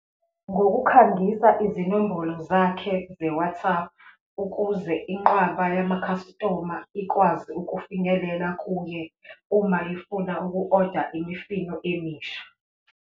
Ngokukhangisa izinombolo zakhe ze-WhatsApp ukuze inqwaba yama-customer ikwazi ukufinyelela kuye uma ifuna uku oda imifino emisha.